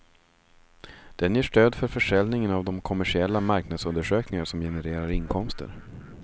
Den ger stöd för försäljningen av de kommersiella marknadsundersökningar som genererar inkomster.